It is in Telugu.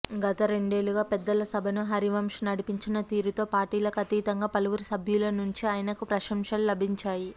గత రెండేళ్లుగా పెద్దల సభను హరివంశ్ నడిపించిన తీరుతో పార్టీలకు అతీతంగా పలువురు సభ్యుల నుంచి ఆయనకు ప్రశంసలు లభించాయి